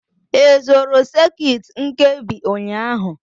Ị zụrụ sekit nkebi ụnyaahụ?